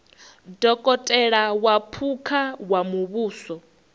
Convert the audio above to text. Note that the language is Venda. dokotela wa phukha wa muvhuso